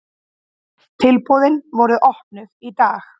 Tilboðin voru opnuð í dag.